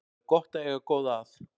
Það er gott að eiga góða að.